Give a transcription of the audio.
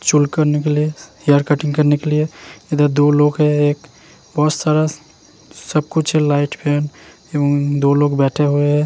चोल करने के लिए और कटिंग करने के लिए इदर दो लोग हैं एक बोसरस सब कुछ लाइट फेम यमं दो लोग बैठें हुए हैं।